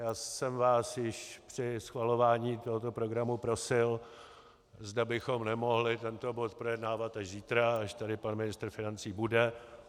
Já jsem vás již při schvalování tohoto programu prosil, zda bychom nemohli tento bod projednávat až zítra, až tady pan ministr financí bude.